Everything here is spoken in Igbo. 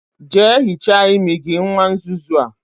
Jea hichaa imi gi, nwa nzuzu a